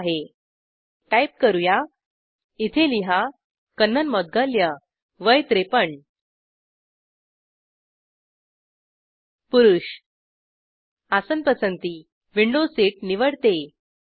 ठिक आहे टाईप करू या इथे लिहा माझे नाव कन्नन मुगदलया वय 53 पुरुष आसन पसंती - विंडो सीट निवडतो